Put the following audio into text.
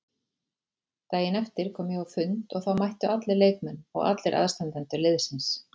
Daginn eftir kom ég á fund og þá mættu allir leikmenn og allir aðstandendur liðsins.